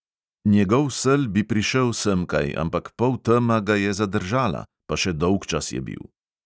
Njegov sel bi prišel semkaj, ampak poltema ga je zadržala, pa še dolgčas je bil.